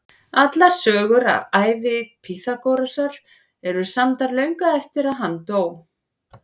Allar sögur af ævi Pýþagórasar eru samdar löngu eftir að hann dó.